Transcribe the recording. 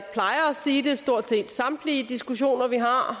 sige det i stort set samtlige diskussioner vi har